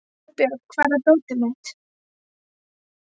Oddbjörg, hvar er dótið mitt?